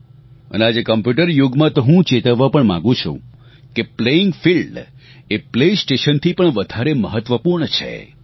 અને આજે કોમ્પ્યુટર યુગમાં તો હું ચેતવવા પણ માંગુ છું કે પ્લેઇંગ ફિલ્ડ એ પ્લેસ્ટેશનથી પણ વધારે મહત્વપૂર્ણ છે